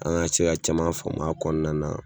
An ka se ka caman faamu a kɔnɔna na.